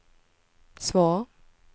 svar